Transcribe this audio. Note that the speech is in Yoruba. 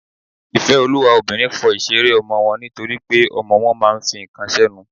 ìfẹ́olúwa obìnrin fọ ìṣeré ọmọ wọn nítorípé ọmọ wọn máà ń fi ǹkan sẹ́nu.